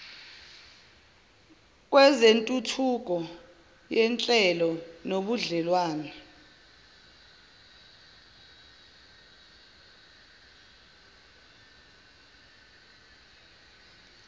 kwezentuthuko yenhlalo nobudlelwnane